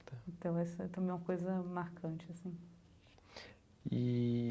Então, essa também é uma coisa marcante assim. Eee.